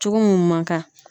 Cogo mun man kan.